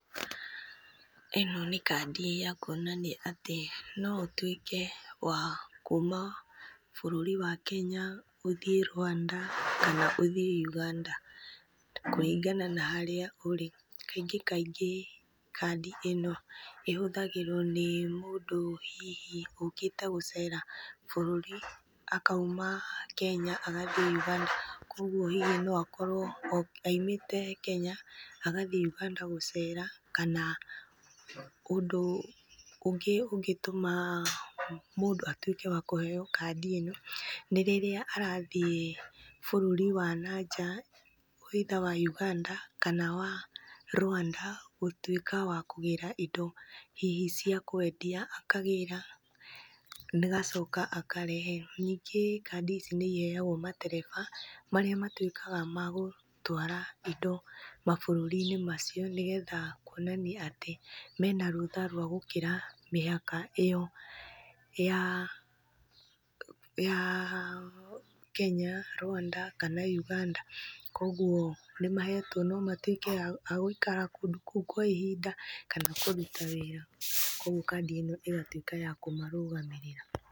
Ĩno nĩ kandi ya kuonania atĩ no ũtuĩke wa kuma bũrũri wa Kenya ũthiĩ Rwanda kana ũthiĩ Uganda kũringana na harĩa ũrĩ. Kaingĩ kaingĩ kandi ĩno ĩhũthagĩrwo nĩ mũndũ hihi ũkĩte gũcera bũrũri akauma Kenya agathiĩ Uganda kuoguo hihi no akorwo aimĩte Kenya agathiĩ Uganda gũcera, kana ũndũ ũngĩ ũngĩtũma mũndũ atuĩke wa kũheo kandi ĩno nĩ rĩrĩa arathiĩ bũrũri wa na nja either wa Uganda kana wa Rwanda gũtuĩka wa kũgĩra indo hihi cia kwendia akagĩra agacoka akareherwo. Ningĩ kandi ici nĩiheagwo matereba, marĩa matuĩkaga magũtwara indo mabũrũri-inĩ macio, nĩgetha kuonania atĩ mena rũtha rwa gũkĩra mĩhaka ĩyo ya ya Kenya, Rwanda kana Uganda kuoguo nĩmahetwo no matuĩke a gũikara kũndũ kũu kwa ihinda kana kũruta wĩra, kuoguo kandi ĩno ĩgatuĩka ya kũmarũgamĩrĩra.